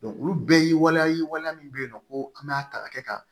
olu bɛɛ ye waleya ye waleya min bɛ yen nɔ ko an b'a ta ka kɛ ka